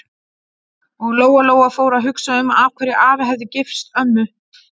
Og Lóa-Lóa fór að hugsa um af hverju afi hefði gifst ömmu.